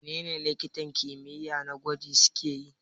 Menene likitan kimiyya na gwaji suke yi?